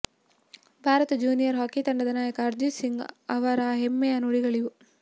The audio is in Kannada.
ಭಾರತ ಜೂನಿಯರ್ ಹಾಕಿ ತಂಡದ ನಾಯಕ ಹರ್ಜೀತ್ ಸಿಂಗ್ ಅವರ ಹೆಮ್ಮೆಯ ನುಡಿಗಳಿವು